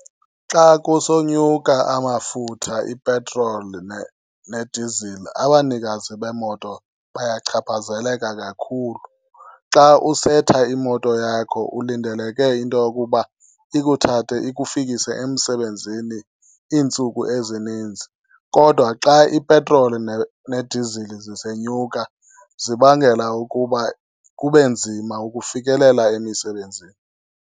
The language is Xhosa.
Xa kusonyuka amafutha, ipetroli nedizili, abanikazi beemoto bayachaphazeleka kakhulu. Xa usetha imoto yakho ulindeleke into yokuba ikuthathe ikufikise emsebenzini iintsuku ezininzi. Kodwa xa ipetroli nedizili zisenyuka, zibangela ukuba kube nzima ukufikelela emisebenzini.